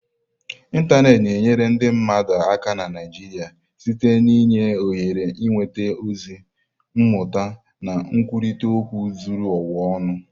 Ịntanetị na-enyere ndị mmadụ aka na Naijiia site n'inye ohere ịnweta ozi, mmụta na nkwurịta okwu zuru ụwa ọnụ.